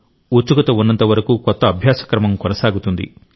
ఉత్సుకత ఉన్నంతవరకు కొత్త అభ్యాస క్రమం కొనసాగుతుంది